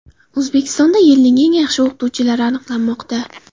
O‘zbekistonda yilning eng yaxshi o‘qituvchilari aniqlanmoqda.